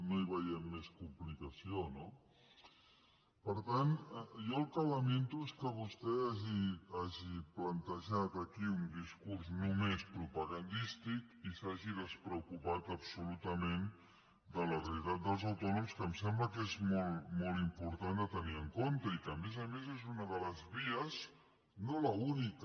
no hi veiem més complicació no per tant jo el que lamento és que vostè hagi plantejat aquí un discurs només propagandístic i s’hagi despreocupat absolutament de la realitat dels autònoms que em sembla que és molt important a tenir en compte i que a més a més és una de les vies no l’única